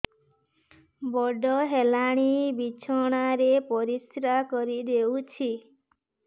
ବଡ଼ ହେଲାଣି ବିଛଣା ରେ ପରିସ୍ରା କରିଦେଉଛି